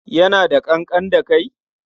Yana da ƙanƙan da kai?